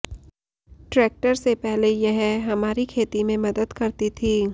tractor से पहले यह हमारी खेती में मदद करती थी